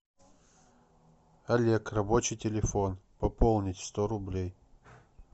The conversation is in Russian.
олег рабочий телефон пополнить сто рублей